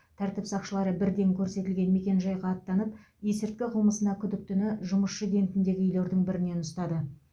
тәртіп сақшылары бірден көрсетілген мекенжайға аттанып есірткі қылмысына күдіктіні жұмысшы кентіндегі үйлердің бірінен ұстады